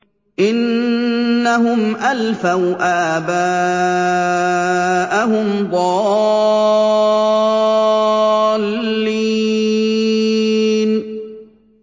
إِنَّهُمْ أَلْفَوْا آبَاءَهُمْ ضَالِّينَ